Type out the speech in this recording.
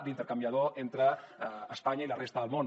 d’intercanviador entre espanya i la resta del món